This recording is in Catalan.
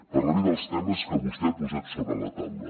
parlaré dels temes que vostè ha posat sobre la taula